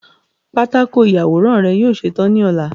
patako iyaworan rẹ yoo ṣetan ni ọla